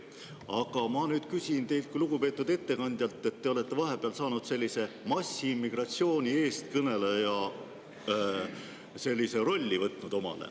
Aga ma nüüd küsin teilt, lugupeetud ettekandja, sest te olete vahepeal sellise massiimmigratsiooni eestkõneleja rolli võtnud omale.